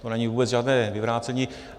To není vůbec žádné vyvrácení.